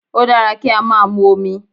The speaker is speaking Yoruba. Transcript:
O dára kí á máa mu omi.